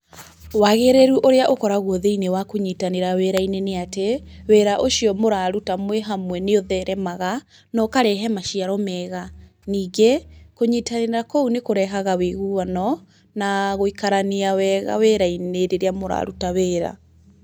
Wagĩrĩru ũrĩa ũkoragwo thĩinĩ wa kũnyitanĩra wĩra-inĩ nĩ atĩ, wĩra ũcio mũraruta mwĩ hamwe nĩ ũtheremaga, na ũkarehe maciaro mega. Ningĩ, kũnyitanĩra kũũ nĩ kũrehaga wĩiguano na gũikarania wega wĩra-inĩ rĩrĩa mũraruta wĩra.